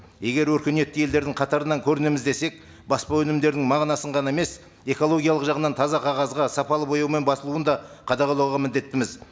егер өркениетті елдердің қатарынан көрінеміз десек баспа өнімдерінің мағынасын ғана емес экологиялық жағынан таза қағазға сапалы бояумен басылуын да қадағалауға міндеттіміз